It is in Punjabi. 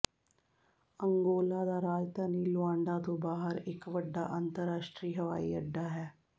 ਅੰਗੋਲਾ ਦਾ ਰਾਜਧਾਨੀ ਲੁਆਂਡਾ ਤੋਂ ਬਾਹਰ ਇਕ ਵੱਡਾ ਅੰਤਰਰਾਸ਼ਟਰੀ ਹਵਾਈ ਅੱਡਾ ਹੈ